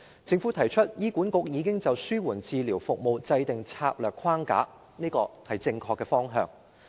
政府表示，醫院管理局已就紓緩治療服務制訂策略框架，這是正確的方向。